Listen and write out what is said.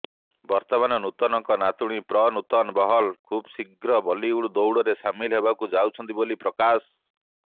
ବର୍ତ୍ତମାନ ନୂତନଙ୍କ ନାତୁଣୀ ପ୍ରନୂତନ ବହଲ୍ ଖୁବ୍ ଶୀଘ୍ର ବଲିଉଡ ଦୌଡ଼ରେ ସାମିଲ ହେବାକୁ ଯାଉଛନ୍ତି ବୋଲି ପ୍ରକାଶ